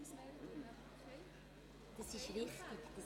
Wer liegt jetzt richtig?